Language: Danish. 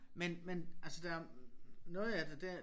Men men altså der noget af det der